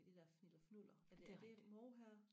du ved det der fniller fnuller er det er det mohair